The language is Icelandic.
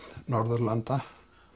Norðurlanda